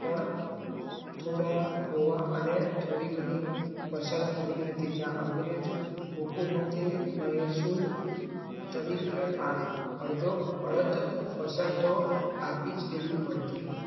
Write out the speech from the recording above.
થોડા હોવા અને થોડી ઘણી ફસલ મળી હતી ત્યાં અંગ્રેજો હુકુમતે મહેંચી તારીખ અડધો અડધી ફસલ તો આપીજ દીધું